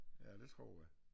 Ja det tror jeg